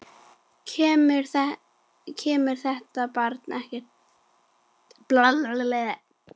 Kemur þetta barn ekkert við.